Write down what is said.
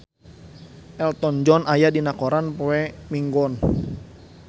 Elton John aya dina koran poe Minggon